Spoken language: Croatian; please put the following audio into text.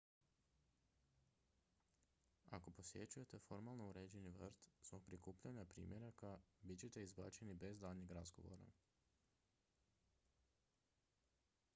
"ako posjećujete formalno uređeni vrt zbog prikupljanja "primjeraka" bit ćete izbačeni bez daljnjeg razgovora.